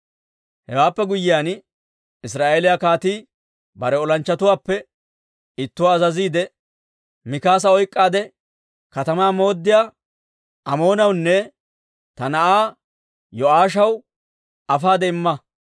Hewaappe guyyiyaan Israa'eeliyaa kaatii bare olanchchatuwaappe ittuwaa azaziidde, «Mikaasa oyk'k'aade katamaa mooddiyaa Amoonawunne ta na'aa Yo'aashaw afaade imma.